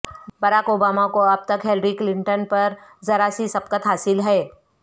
Barack Obama کو اب تک ہیلری کلٹن پر ذرا سی سبقت حاصل ہے